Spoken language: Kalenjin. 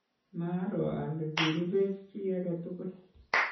maaro ale kirubech chii age tugul